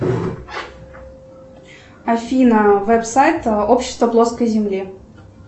афина веб сайт общества плоской земли